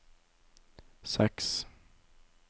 seks